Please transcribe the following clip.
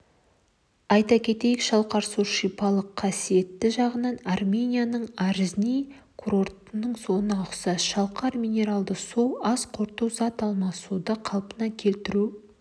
айта кетейік шалқар суы шипалық қасиеті жағынан арменияның арзни курортының суына ұқсас шалқар минералды суы ас қорыту зат алмасуды қалпына келтіру